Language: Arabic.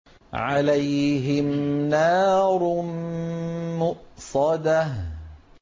عَلَيْهِمْ نَارٌ مُّؤْصَدَةٌ